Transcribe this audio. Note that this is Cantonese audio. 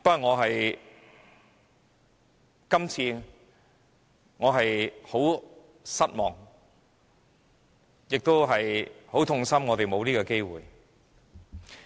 我感到非常失望，也很痛心我們沒有這個機會。